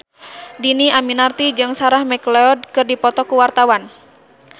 Dhini Aminarti jeung Sarah McLeod keur dipoto ku wartawan